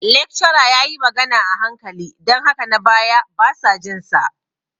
Lecturer ya yi magana a hankali don haka na baya basa jin sa.